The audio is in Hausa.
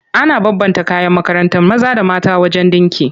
Ana bambanta kayan makarantar maza da mata wajen ɗinki.